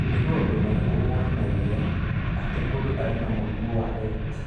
Nĩ maũndũ marĩkũ monanagia atĩ mũndũ arĩ na mũrimũ wa Rett?